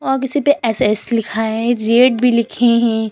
और किसी पे एस एस लिखा है रेट भी लिखे हैं।